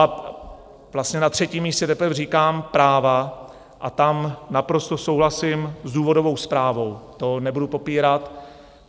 A vlastně na třetím místě teprve říkám práva, a tam naprosto souhlasím s důvodovou zprávou, to nebudu popírat.